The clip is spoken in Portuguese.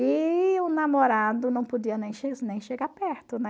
E o namorado não podia nem nem chegar perto, né?